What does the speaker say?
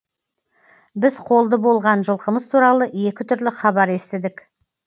біз қолды болған жылқымыз туралы екі түрлі хабар естідік